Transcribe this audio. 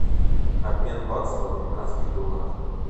обмен бакса в американских долларах